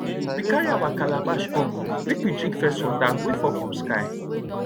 we carry our calabash up make we drink first water wey fall from sky